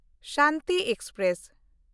Shanti express